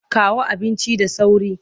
Kawo abincin da sauri!